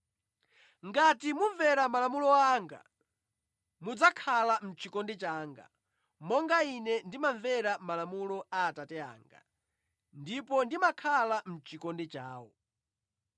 Ngati mumvera malamulo anga, mudzakhala mʼchikondi changa, monga Ine ndimamvera malamulo a Atate anga, ndipo ndimakhala mʼchikondi chawo.